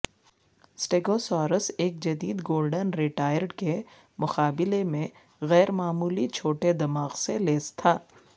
stegosaurus ایک جدید golden retriever کے مقابلے میں غیر معمولی چھوٹے دماغ سے لیس تھا